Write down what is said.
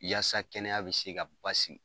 Yaasa kɛnɛya bi se ka basigi